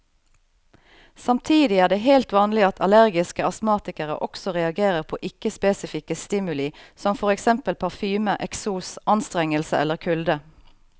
Samtidig er det helt vanlig at allergiske astmatikere også reagerer på ikke spesifikke stimuli som for eksempel parfyme, eksos, anstrengelse eller kulde.